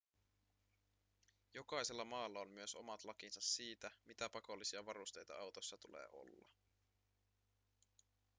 jokaisella maalla on myös omat lakinsa siitä mitä pakollisia varusteita autossa tulee olla